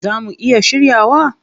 Zaa mu iya shiryawa?